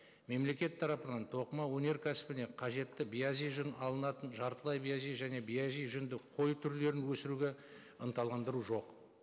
мемлекет тарапынан тоқыма өнеркәсібіне қажетті биязи жүн алынатын жартылай биязи және биязи жүнді қой түрлерін өсіруге ынталандыру жоқ